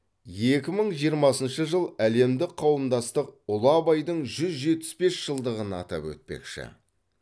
екі мың жиырмасыншы жыл әлемдік қауымдастық ұлы абайдың жүз жетпіс бес жылдығын атап өтпекші